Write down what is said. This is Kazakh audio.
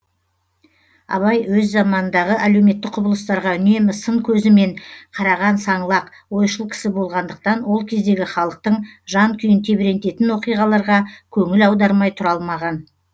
абай өз заманындағы әлеуметтік құбылыстарға үнемі сын көзі мен қараған саңлақ ойшыл кісі болғандықтан ол кездегі халықтың жан күйін тебірентетін оқиғаларға көңіл аудармай тұра алмаған